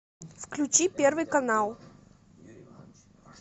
включи первый канал